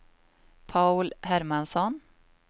Paul Hermansson